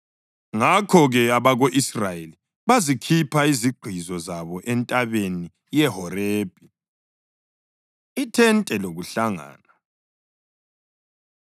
Ngakho-ke abako-Israyeli bazikhipha izigqizo zabo entabeni yeHorebhi. Ithente Lokuhlangana